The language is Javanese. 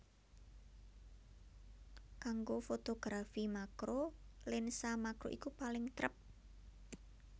Kanggo fotografi makro lensa makro iku paling trep